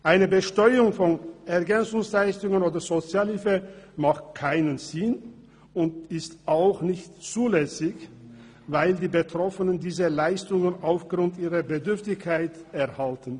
Eine Besteuerung von Ergänzungsleistungen oder Sozialhilfe macht keinen Sinn und ist auch nicht zulässig, weil die Betroffenen diese Leistungen aufgrund ihrer Bedürftigkeit erhalten.